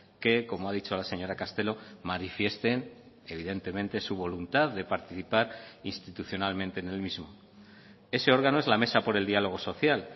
que como ha dicho la señora castelo manifiesten evidentemente su voluntad de participar institucionalmente en el mismo ese órgano es la mesa por el diálogo social